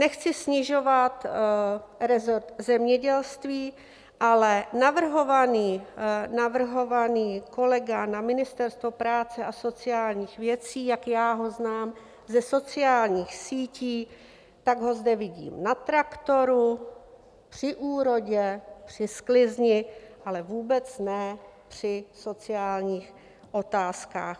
Nechci snižovat resort zemědělství, ale navrhovaný kolega na Ministerstvo práce a sociálních věcí, jak já ho znám ze sociálních sítí, tak ho zde vidím na traktoru, při úrodě, při sklizni, ale vůbec ne při sociálních otázkách.